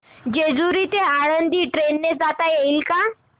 जेजूरी ते आळंदी ट्रेन ने जाता येईल का